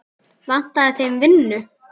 Vantaði þeim vinnu?